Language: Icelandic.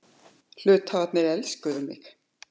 Hluthafarnir elskuðu mig.